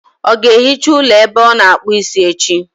Ọ ga-ehicha ụlọ ebe ọ na-akpụ isi echi?